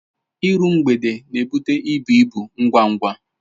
Iru mgbede n'ebute ibu ibu ngwa ngwa